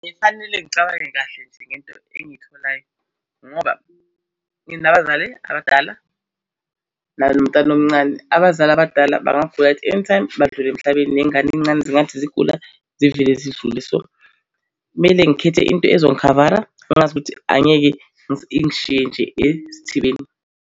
Kufanele ngicabange kahle nje ngento engitholayo ngoba nginabazali abadala nalomntana omncane. Abazali abadala bangagula at anytime, badlule emhlabeni. Nengane ey'ncane zingathi zigula zivele zidlule, so kumele ngikhethe into ezongikhavara ngazi ukuthi angeke ingishiye nje esithubeni.